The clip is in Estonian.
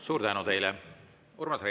Suur tänu teile!